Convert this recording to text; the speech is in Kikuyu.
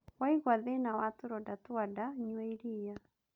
Waigua thĩna wa tũronda twa nda nyua iriia